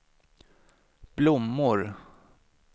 blommor